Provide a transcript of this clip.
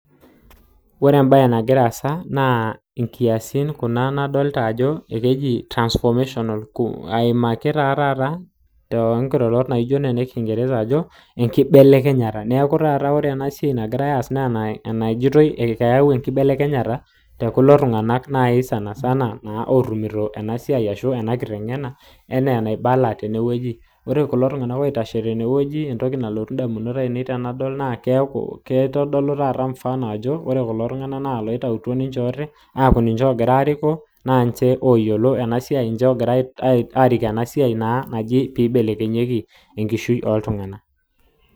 Ore embaye nagira assa naa translation coo aimaki taa taata aibelekeny amuu ore entoki nagirirae naa ore ena sidai naakisaidia peening neyiolou naa kibelekeny enkishui ooltunganak